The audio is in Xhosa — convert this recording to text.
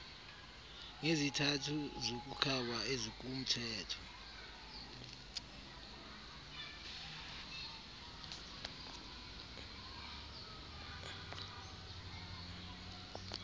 ngezizathu zokukhaba ezikumthetho